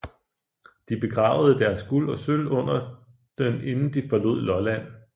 De begravede deres guld og sølv under den inden de forlod Lolland